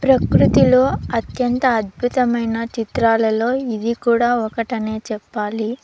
ప్రకృతిలో అత్యంత అద్భుతమైన చిత్రాలలో ఇది కూడా ఒకటనే చెప్పాలి.